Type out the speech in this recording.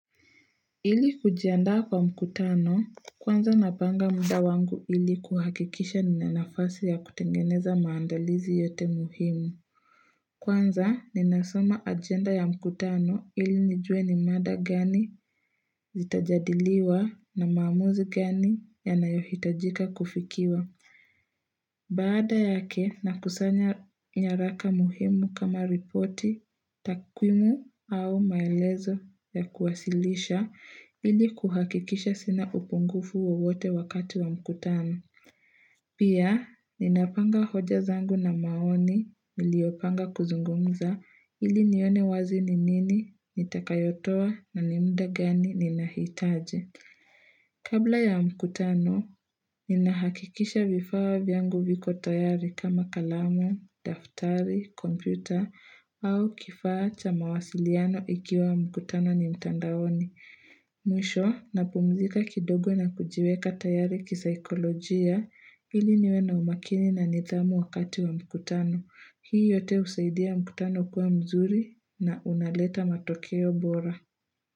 Ili kujiandaa kwa mkutano, kwanza napanga muda wangu ili kuhakikisha nina nafasi ya kutengeneza maandalizi yote muhimu. Kwanza, ninasoma agenda ya mkutano ili nijue ni mada gani zitajadiliwa na maamuzi gani yanayohitajika kufikiwa. Baada yake nakusanya nyaraka muhimu kama ripoti takwimu au maelezo ya kuwasilisha ili kuhakikisha sina upungufu wowote wakati wa mkutano. Pia ninapanga hoja zangu na maoni iliopanga kuzungumza ili nione wazi ni nini nitakayotoa na ni muda gani ninahitaji. Kabla ya mkutano, ninahakikisha vifaa vyangu viko tayari kama kalamu, daftari, kompyuta au kifaa cha mawasiliano ikiwa mkutano ni mtandaoni. Mwisho, napumzika kidogo na kujiweka tayari kisaikolojia ili niwe na umakini na nidhamu wakati wa mkutano. Hii yote husaidia mkutano kuwa mzuri na unaleta matokeo bora.